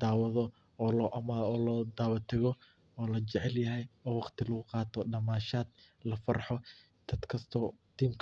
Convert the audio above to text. dawado oo lodawa tago oo lajecelyah oo wagti laguqato damashat , lagufarho dadkasto team,